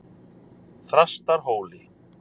Þrastarhóli